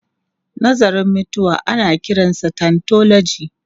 Nazarin mutuwa ana kiransa thanatology.